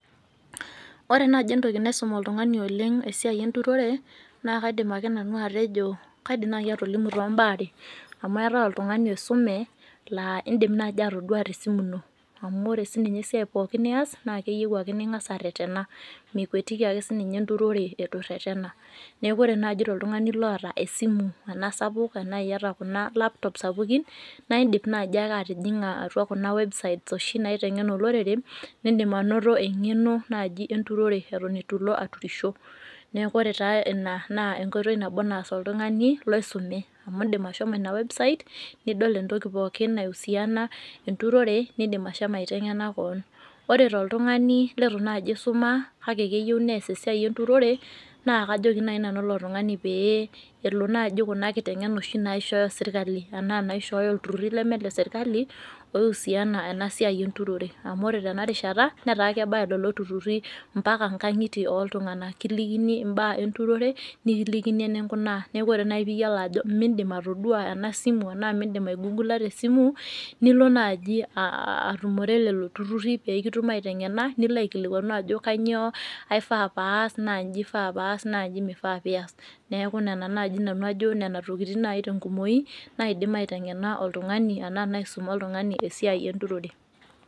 Ore naji entoki naisum oltung'ani oleng' esiai enturore naakaidim ake nanu atejo, kaidim nai atolimu toombaa are ; amu eetai oltung'ani oisume laa indim naji atoduaa tesimu ino amu ore sininye esiai pooki nias naakeyou ake ning'as arretena, mikuatiki ake sininye enturore eitu irretena. Neaku ore naji toltung'ani loota esimu enasapuk anaa iata kuna laptop sapukin naaidip naji ake atijing'a atua kuna websites oshi naiteng'en olorere nindim anoto eng'eno naji enturore eton eitu ilo aturisho. Neaku ore taa ina naa enkoitoi nabo naas oltung'ani loisume amu indim ashomo ina website nidol entoki pooki naihusiana enturore nindim ashomo aiteng'ena koon. Ore toltung'ani leitu naji eisuma kake neyou neas esia enturore naakajoki nai nanu ilo tung'ani pee elo naji kuna kiteng'ena oshi naishooyo sirkali anaa naishooyo ilturruri leme leserkali oihusiana enasiai enturore amu ore tena rishata netaa kebaya lolo turruri mpaka ngang'itie ooltung'ana kilikini imbaa enturore nikilikini eninkunaa neaku ore nai piiyolo ajo mindim atoduaa enasimu anaa mindim aigugula tesimu nilo naaji atumore lelo turruri peekitum aiteng'ena niloaikilikuanu ajo kanyoo aifaa paas naanyji eifaa paas naanyji meifaa piias. Neaku nena nai nanu ajo nena tokitin naji tenkumoyi naidim aiteng'ena oltung'ani anaa naisuma oltung'ani esiai enturore.